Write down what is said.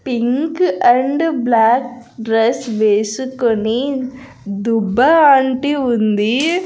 Pink and black dress వేసుకొని దుబ్బా aunty ఉంది.